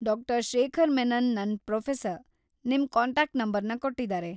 ಡಾ.ಶೇಖರ್‌ ಮೆನನ್ ನನ್‌ ಪ್ರೋಫೆಸರ್‌, ನಿಮ್‌ ಕಾಂಟಾಕ್ಟ್‌ ನಂಬರ್ನ ಕೊಟ್ಟಿದಾರೆ.